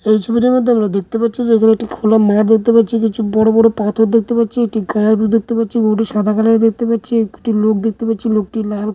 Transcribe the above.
এই ছবিটির মধ্যে আমরা দেখতে পাচ্ছি যে এই জায়গাটি খোলা মাঠ দেখতে পাচ্ছি কিছু বড়ো বড়ো পাথর দেখতে পাচ্ছি একটি গারু দেখতে পাচ্ছি গরুটি সাদা কালারের দেখতে পাচ্ছি একটি লোক দেখতে পাচ্ছি লোকটির লাল --